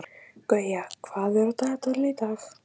Þá má gera þetta hagkvæmar